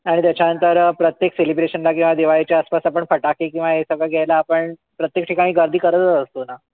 आणि त्याच्यानंतर प्रत्येक celebration ला किंवा दिवाळीच्या आसपास आपण फटाके किंवा हे सगळं घ्यायला आपण प्रत्येक ठिकाणी गर्दी करतच असतो ना.